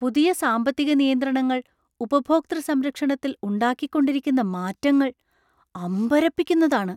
പുതിയ സാമ്പത്തിക നിയന്ത്രണങ്ങൾ ഉപഭോക്തൃ സംരക്ഷണത്തിൽ ഉണ്ടാക്കിക്കൊണ്ടിരിക്കുന്ന മാറ്റങ്ങള്‍ അമ്പരപ്പിക്കുന്നതാണ്.